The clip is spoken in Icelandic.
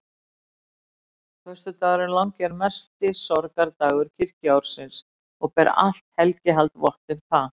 Föstudagurinn langi er mesti sorgardagur kirkjuársins og ber allt helgihald vott um það.